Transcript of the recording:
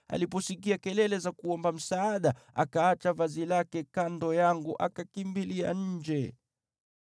Aliposikia kelele za kuomba msaada, akaacha vazi lake kando yangu akakimbilia nje.”